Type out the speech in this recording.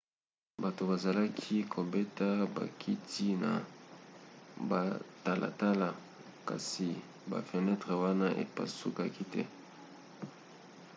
bato bazalaki kobeta bakiti na batalatala kasi bafenetre wana epasukaka te